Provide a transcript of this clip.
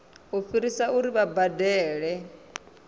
u fhirisa uri vha badele